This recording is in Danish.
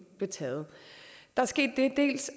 blev taget dels